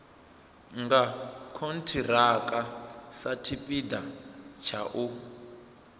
nga khonthiraka satshipida tsha u